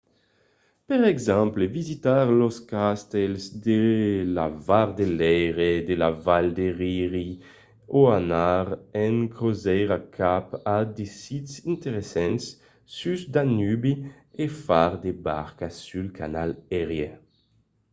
per exemple visitar los castèls de la val de leire de la val de rin o anar en crosièra cap a de sits interessants sus danubi o far de barca sul canal erie